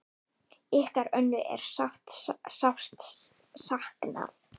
Ykkar Önnu er sárt saknað.